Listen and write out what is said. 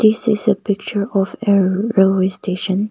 this is a picture of a railway station.